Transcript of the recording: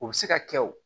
U bɛ se ka kɛ o